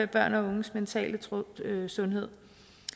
børn og unges mentale sundhed sundhed